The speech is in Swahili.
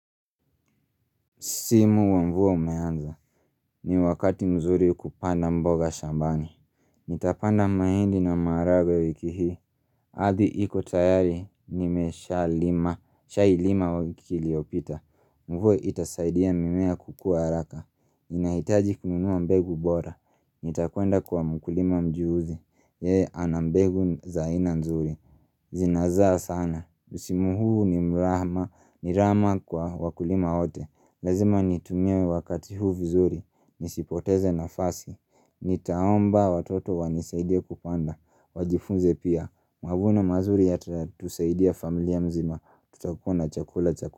Simu wa mvua umeanza, ni wakati mzuri kupanda mboga shambani Nitapanda maindi na maragwe wiki hii Adhi iko tayari, nimesha lima, shai lima wakili opita Mvuo itasaidia mimea kukua araka Inaitaji kununua mbegu bora Nitakwenda kwa mkulima mjuuzi Yee, anambegu za aina nzuri Zinazaa sana msimu huu ni mrahma, ni rama kwa wakulima wote Lazima nitumie wakati huu vizuri, nisipoteze na fasi, nitaomba watoto wanisaidie kupanda, wajifunze pia, mavuno mazuri yata tusaidia familia mzima, tutakua na chakula cha.